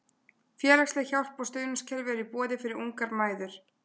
Félagsleg hjálp og stuðningskerfi eru í boði fyrir ungar mæður.